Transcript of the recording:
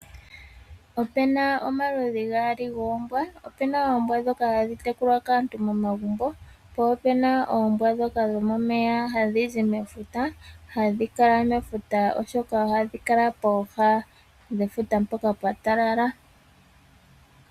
Opuna omaludhi gaali goombwa. Opuna oombwa ndhoka hadhi tekulwa kaantu momagumbo, po opuna oombwa ndhoka dhomomeya hadhi zi mefuta . Ohadhi kala mefuta oshoka ohadhi kala pooha dhefuta mpoka pwatalala.